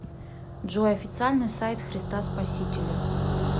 джой официальный сайт христа спасителя